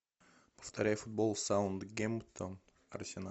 повторяй футбол саутгемптон арсенал